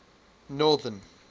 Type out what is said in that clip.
northern